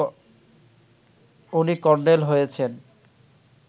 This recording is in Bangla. উনি কর্নেল হয়েছেন